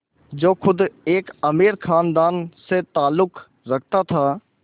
जो ख़ुद एक अमीर ख़ानदान से ताल्लुक़ रखता था